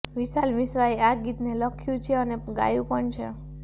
વિશાલ મિશ્રાએ આ ગીતને લખ્યું છે અને ગાયુ પણ છે